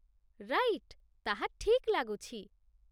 Right! ତାହା ଠିକ୍ ଲାଗୁଛି